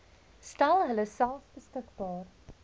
stel hulleself beskikbaar